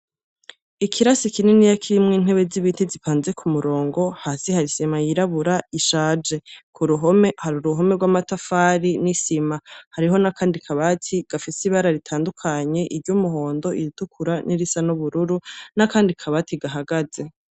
Ikirasi kininiya kirimwo intebe niniya zipanze kumurongo hasi hari isima yirabura ishaje kuruhome hari uruhome rwamatafari nisima hariho nakandi kabati gafise ibara ritandukanye iryumuhondo iritukura nirisa nubururu nakandi kabati gahagaze